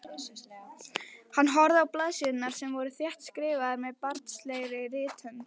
Hann horfði á blaðsíðurnar sem voru þéttskrifaðar með barnslegri rithönd.